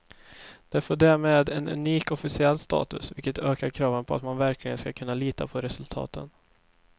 Det får därmed en unik officiell status, vilket ökar kraven på att man verkligen ska kunna lita på resultaten.